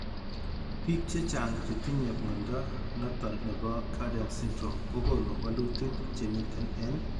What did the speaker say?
Biik chechang chetinye mnyondo noton nebo Cowden syndrome kogonu walutik chemiten en